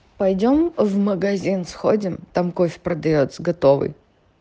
пойдём в магазин сходим там кофе продаётся готовый